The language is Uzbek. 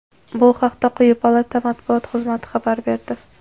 Bu haqda quyi palata Matbuot xizmati xabar berdi.